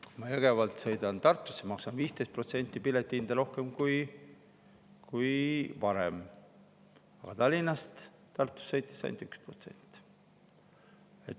Kui ma Jõgevalt sõidan Tartusse, maksan 15% piletihinda rohkem kui varem, aga Tallinnast Tartusse sõites ainult 1%.